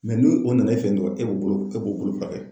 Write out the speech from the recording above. ni o nana e fɛ yen dɔrɔn e b'o bolo e b'o bolo furakɛ.